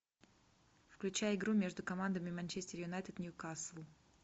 включай игру между командами манчестер юнайтед ньюкасл